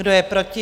Kdo je proti?